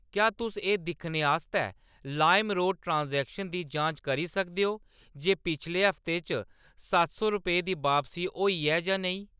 क्या तुस एह्‌‌ दिक्खने आस्तै लाइमरोड ट्रांज़ैक्शनें दी जांच करी सकदे ओ जे पिछले हफ्ते च सत्त सौ रपेऽ दी बापसी होई ऐ जां नेईं?